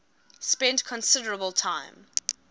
spent considerable time